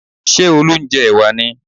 Ṣé Olú ń jẹ ẹ̀wà ni?